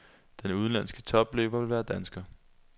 Den udenlandske topløber vil være dansker.